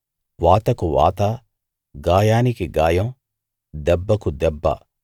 వాతకు వాత గాయానికి గాయం దెబ్బకు దెబ్బ